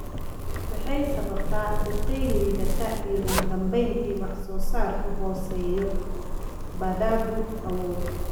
waxay sababtaa biqil liidata iyo ugu dambayntii wax soo saarkoodu hooseeyo. Baradhadu awood